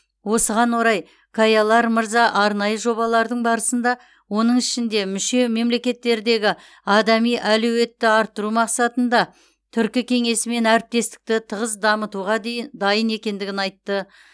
осыған орай каялар мырза арнайы жобалардың барысында оның ішінде мүше мемлекеттердегі адами әлеуетті арттыру мақсатында түркі кеңесімен әріптестікті тығыз дамытуға дейін дайын екендігін айтты